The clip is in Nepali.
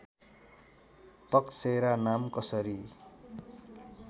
तकसेरा नाम कसरी